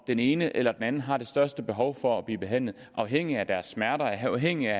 den ene eller den anden der har det største behov for at blive behandlet afhængigt af deres smerter og afhængigt